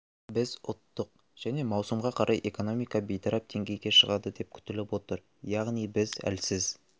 біз ұттық және маусымға қарай экономика бейтарап деңгейге шығады деп күтіліп отыр яғни біз әлсіз